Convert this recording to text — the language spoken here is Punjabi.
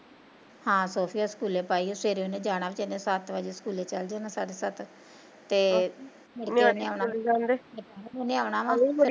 ਹਾ ਸੋਫੀਆ ਸਕੂਲੇ ਪਾਈ ਐ, ਸਵੇਰੇ ਉਹਨੇ ਜਾਣਾ ਵੀਚਾਰੀ ਨੇ, ਸੱਤ ਵਜੇ ਸਕੂਲੇ ਚੱਲ ਜਾਣਾ ਸਾਢੇ ਸੱਤ ਤੇ ਉਹਨੇ ਆਉਣਾ ਵਾ